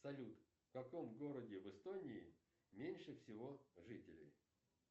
салют в каком городе в эстонии меньше всего жителей